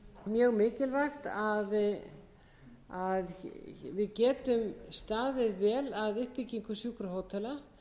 mjög mikilvægt að við getum staðið vel að uppbyggingu sjúkrahótela